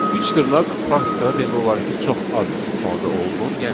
Üç dırnaq praktikada demək olar ki, çox az istifadə olunur,